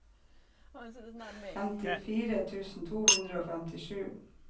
femtifire tusen to hundre og femtisju